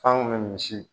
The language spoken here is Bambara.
F'an kun bɛ misi